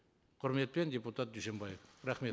құрметпен депутат дүйсенбаев рахмет